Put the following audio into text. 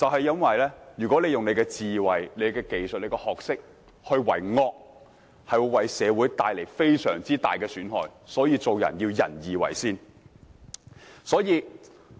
因為如果運用智慧、技術和學識為惡，便會為社會帶來非常大的損害，所以做人當以仁義為先。